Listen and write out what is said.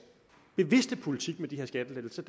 bevidste politik med de her skattelettelser